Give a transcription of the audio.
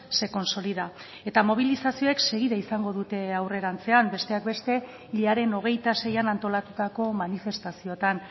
se consolida eta mobilizazioek segida izango dute aurrerantzean besteak beste hilaren hogeita seian antolatutako manifestazioan